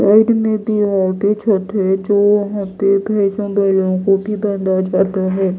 Side में भी और भी छत है जो वहां पे भैंसों बैलों को भी बांधा जाता है।